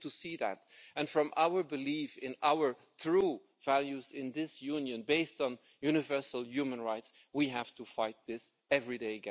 We have to see that and, from our belief in our true values in this Union, based on universal human rights, we have to fight this again every day.